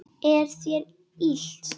Er þér illt?